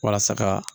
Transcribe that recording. Walasa ka